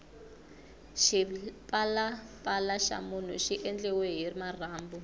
xipalapala xa munhu xi endliwile hi marhambu